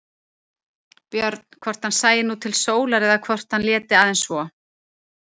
Björn hvort hann sæi nú til sólar eða hvort hann léti aðeins svo.